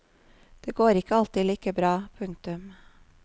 Det går ikke alltid like bra. punktum